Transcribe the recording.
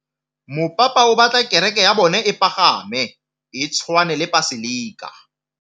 Mopapa o batla kereke ya bone e pagame, e tshwane le paselika.